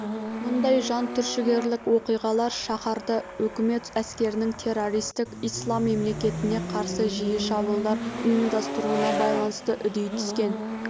мұндай жантүршігерлік оқиғалар шаһарда үкімет әскерінің террористік ислам мемлекетіне қарсы жиі шабуылдар ұйымдастыруына байланысты үдей түскен